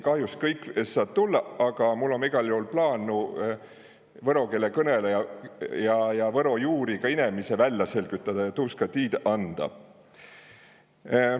Kahjus kõik es saa tulla, aga mul om egal juhul plaan nu võrokeele kõnõlõja ja võro juuriga inemise vällä selgitada ja tuust ka tiidä anda.